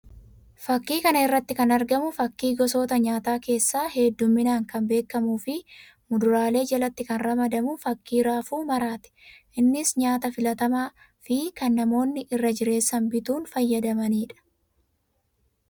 Fakkii kana irratti kan arganu fakkii gosoota nyaataa keessaa hedduminaan kan beekamuu fi mudaaraalee jalatti kan ramadamu fakkii raafuu maraa ti. Innis nyaata filatamaa fi kan namoonni irra jireessan bituun fayyadamanii dha.